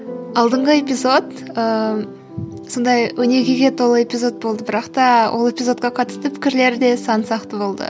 алдыңғы эпизод ыыы сондай өнегеге толы эпизод болды бірақта ол эпизодқа қатысты пікірлер де сан сақты болды